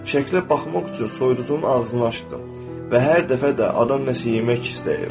Şəkllə baxmaq üçün soyuducunun ağzını açdım və hər dəfə də adam nəsə yemək istəyir.